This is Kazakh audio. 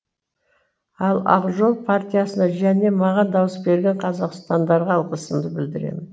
ал ақ жол партиясына және маған дауыс берген қазақстандықтарға алғысымды білдіремін